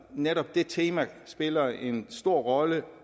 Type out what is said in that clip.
netop det tema spiller en stor rolle